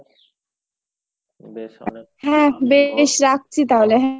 হ্যাঁ বেশ রাখছি তাহলে।